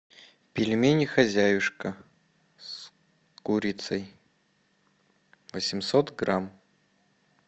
пельмени хозяюшка с курицей восемьсот грамм